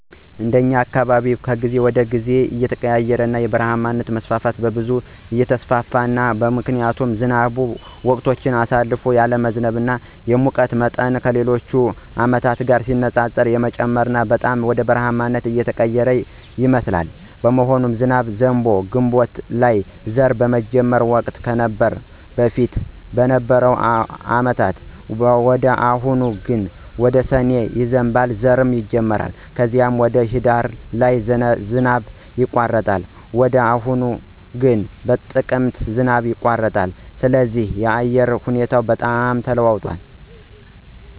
እንደኛ አካባቢ ከጊዜ ወደ ጊዜ እየተቀያየረና የበረሃማነት መስፋፋት በብዛት እየተስፋፋ ነው ምክንያቱም ዝናብም ወቅቶችን አሳልፎ ያለመዝነብ፣ የሙቀቱም ሁኔታ ከሌሎች አመቶች ጋር ሲነፃፀር የመጨመርና በጣም ወደ በረሐማነት እየተቀየረ ይመስላል። በመሆኑም ዝናብ ዘንቦ ግንቦት ላይ ዘር ሚጀመርበት ወቅት ነበር በፊት በነበሩ አመታት ወደ አሁኑ ደግሞ ወደ ሰኔ ይዘንባል ዘርም ይጀመራል ከዚም ወደ ሂዳር ላይ ዝናብ ይቋረጣል ወደ አሁኑ ግን በጥቅምት ዝናብ ይቋረጣል ስለዚህ የአየሩ ሁኔታ በጣም ተለዋውጧል